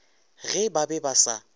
ge ba be ba sa